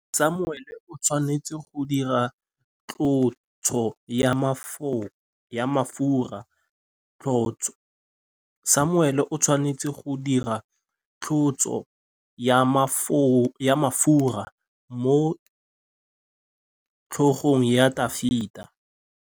Samuele o tshwanetse go dirisa tlotsô ya mafura motlhôgong ya Dafita.